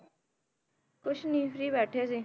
ਕੁਛ ਨੀ free ਬੈਠੇ ਸੀ।